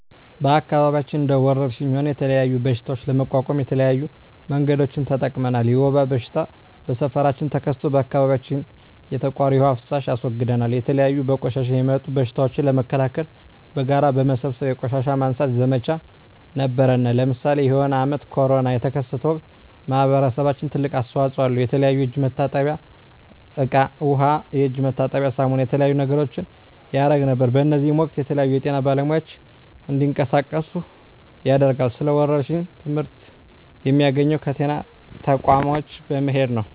በአከባቢያችን እንደ ወረርሽኝ ሆነ የተለያዩ በሽታዎች ለመቋቋም የተለያዩ መንገዶችን ተጠቅመናል የወባ በሽታ በሠፈራችን ተከስቶ በአካባቢያችን የተቃሩ የዉሃ ፋሳሽ አስወግደናል የተለያዩ በቆሻሻ የሚጡም በሽቶችን ለመከላከል በጋራ በመሠብሰብ የቆሻሻ ማንሳት ዘመቻ ነበረነ ለምሳሌ የሆነ አመት ኮርና የተከሰተ ወቅት ማህበረሰባችን ትልቅ አስተዋጽኦ አለው የተለያዩ የእጅ መታጠብያ እቃ ዉሃ የእጅ መታጠቢያ ሳሙና የተለያዩ ነገሮችን ያረግ ነበር በእዚህም ወቅትም የተለያዩ የጤና ባለሙያዎች እንዲቀሳቀሱ ያደርጋል ስለ ወረርሽኝ ትመህርት የሚያገኘው ከጤና ተቋሞች በመሄድ ነው